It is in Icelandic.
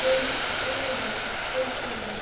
Það viðrar vel fyrir